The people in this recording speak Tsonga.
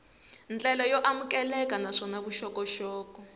ndlela yo amukeleka naswona vuxokoxoko